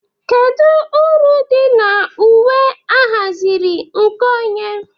Kedu uru dị na uwe ahaziri nke onye?